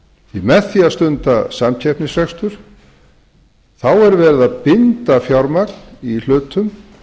með því að stunda samkeppnisrekstur er verið að binda fjármagn í hlutum